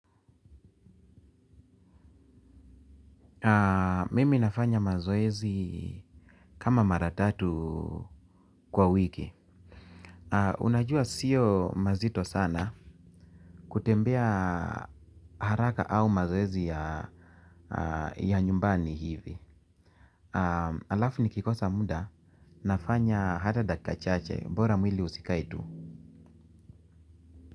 Mimi nafanya mazoezi kama mara tatu kwa wiki. Unajua sio mazito sana kutembea haraka au mazoezi ya nyumbani hivi. Alafu nikikosa muda nafanya hata dakika chache bora mwili usikae tu.